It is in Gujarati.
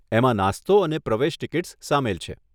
એમાં નાસ્તો અને પ્રવેશ ટીકીટ્સ સામેલ છે.